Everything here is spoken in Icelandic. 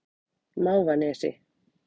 Mávanesi